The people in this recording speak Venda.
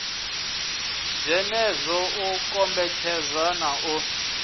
dzenedzo u kombetshedza na u